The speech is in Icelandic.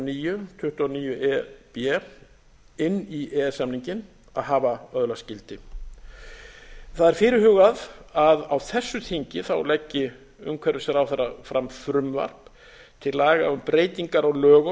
níu tuttugu og níu e b inn í e e s samninginn að hafa öðlast gildi það er fyrirhugað að á þessu þingi leggi umhverfisráðherra fram frumvarp til laga um breytingar á lögum